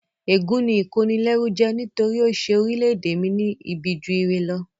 Ègún ni ìkónilẹ́rú jẹ́ nítorí ó ṣe orílẹ̀-ède mi ní ibi ju ire lọ